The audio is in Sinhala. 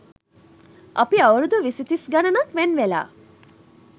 අපි අවුරුදු විසි තිස් ගණනක් වෙන් වෙලා